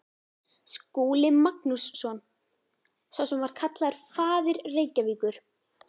Skúli Magnússon, sá sem var kallaður faðir Reykjavíkur.